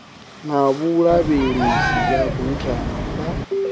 na vhulavhelese ya buthano ḽa